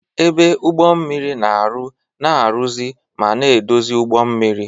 Ebe Ụgbọ mmiri na-arụ, na-arụzi ma na-edozi ụgbọ mmiri.